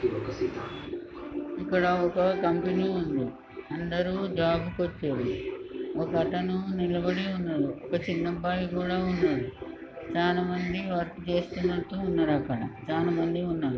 ఇక్కడొక కంపెనీ ఉంది. అందరు జాబు కొచ్చారు. ఒక అతను నిలబడి ఉన్నాడు. చిన్నబ్బాయి కూడా ఉన్నాడు. చాలా మంది వర్క్ చేస్తున్నట్లు ఉన్నారక్కడ చాలా మంది ఉన్నారు.